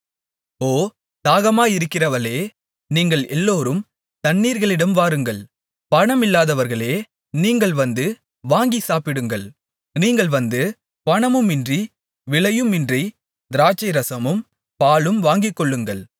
ஓ தாகமாயிருக்கிறவர்களே நீங்கள் எல்லோரும் தண்ணீர்களிடம் வாருங்கள் பணமில்லாதவர்களே நீங்கள் வந்து வாங்கிச் சாப்பிடுங்கள் நீங்கள் வந்து பணமுமின்றி விலையுமின்றித் திராட்சைரசமும் பாலும் வாங்கிக்கொள்ளுங்கள்